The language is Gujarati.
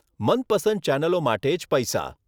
મનપસંદ ચેનલો માટે જ પૈસા